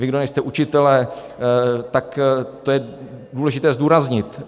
Vy, kdo nejste učitelé, tak to je důležité zdůraznit.